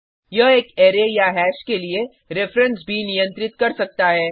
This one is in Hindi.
यह एक अरै या हैश के लिए रिफ्रेंस भी नियंत्रित कर सकता है